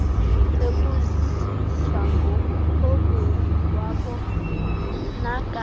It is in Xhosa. ebuzisa ngomthobeli kwabonakala